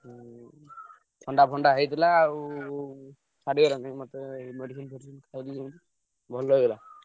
ହୁଁ ଥଣ୍ଡା ଫଣ୍ଡା ହେଇଥିଲା ଆଉ ଛାଡି ଗଲାଣି ମତେ medicine ଫେଡିସିନି ଖାଉଛି ସେମିତି ଭଲ ହେଇଗଲା।